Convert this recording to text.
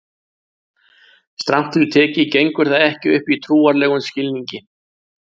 Strangt til tekið gengur það ekki upp í trúarlegum skilningi.